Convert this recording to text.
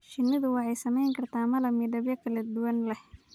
Shinnidu waxay samayn kartaa malab midabyo kala duwan leh.